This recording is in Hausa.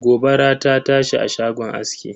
Gobara ta tashi a shagon aski.